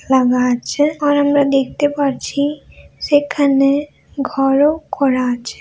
লাগা আছে। আর আমরা দেখতে পাচ্ছি সেখানে ঘর ও করা আছে।